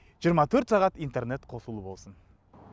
жиырма төрт сағат интернет қосулы болсын